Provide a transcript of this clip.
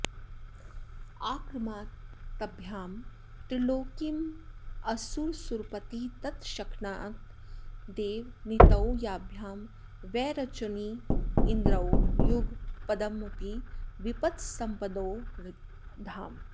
आक्रामद्भ्यां त्रिलोकीमसुरसुरपती तत्क्षणादेव नीतौ याभ्यां वैरोचनीन्द्रौ युगपदपि विपत्सम्पदोरेकधाम